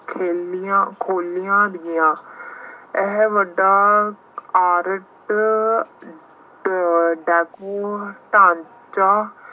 ਹਵੇਲੀਆਂ ਖੋਲ੍ਹੀਆਂ ਗਈਆਂ। ਇਹ ਵੱਡਾ ਪਾਰਕ ਡਾਕੂ ਢਾਂਚਾ